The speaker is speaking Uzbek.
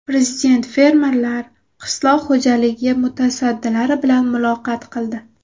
Prezident fermerlar, qishloq xo‘jaligi mutasaddilari bilan muloqot qildi.